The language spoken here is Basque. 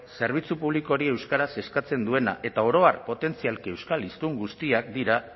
zerbitzu publiko hori euskaraz eskatzen duena eta oro har potentzialki euskal hiztun guztiak dira